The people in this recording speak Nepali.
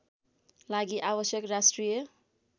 लागि आवश्यक राष्ट्रिय